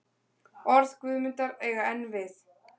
Orð Guðmundar eiga enn við.